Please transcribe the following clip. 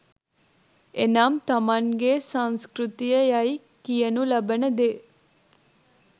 එනම් තමන්ගේ සංස්කෘතිය යැයි කියනු ලබන දේ